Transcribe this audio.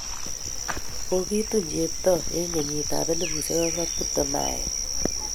Kokitun Cheptoo eng' kenyit ap 2021.